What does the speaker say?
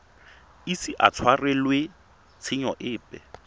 ise a tshwarelwe tshenyo epe